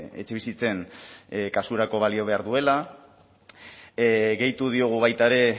etxebizitzen kasurako balio behar duela gehitu diogu baita ere